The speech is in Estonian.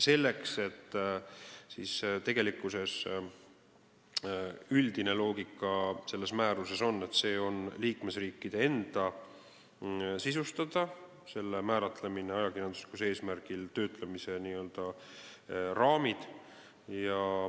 Selle määruse üldine loogika on, et liikmesriikide enda sisustada on ajakirjanduslikul eesmärgil töötlemise n-ö raamid.